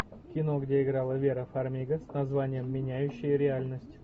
кино где играла вера фармига с названием меняющие реальность